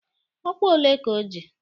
Ọkwa ole ka ọ ji?